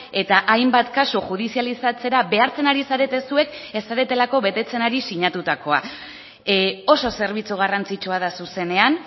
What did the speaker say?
eta hainbat kasu judizializatzera behartzen ari zarete zuek ez zaretelako betetzen ari sinatutakoa oso zerbitzu garrantzitsua da zuzenean